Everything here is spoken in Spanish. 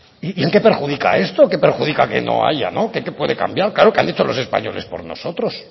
y en qué perjudica esto qué perjudica que no haya qué puede cambiar claro que han hecho los españoles por nosotros